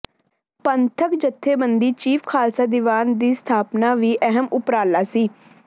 ਪੰਥਕ ਜਥੇਬੰਦੀ ਚੀਫ ਖ਼ਾਲਸਾ ਦੀਵਾਨ ਦੀ ਸਥਾਪਨਾ ਵੀ ਅਹਿਮ ਉਪਰਾਲਾ ਸੀ